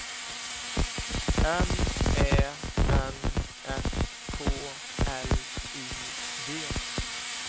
M Ä N S K L I G